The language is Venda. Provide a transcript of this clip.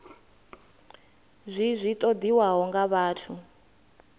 zwi zwi ṱoḓiwaho nga vhathu